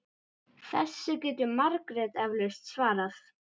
Þessu getur Margrét eflaust svarað.